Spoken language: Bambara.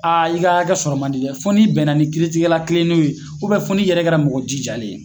i ka hakɛ sɔrɔ man di dɛ foni bɛnna ni kiiritigɛla kilennenw ye, fo n'i yɛrɛ kɛra mɔgɔ jijalen ye.